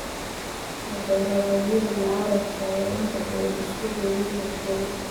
Mudaaharaadyada mucaaradka ayaa inta badan isu rogay rabshado.